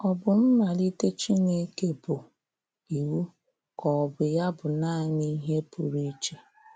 Ọ bụ mmalite Chineke bụ iwu, ka ọ bụ ya bụ naanị ihe pụrụ ịche?